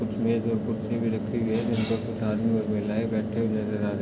इसमे दो खुर्ची भी रखी हुई है जिसपर कुछ आदमी और महलाये बैठी हुई नजर आ रहे।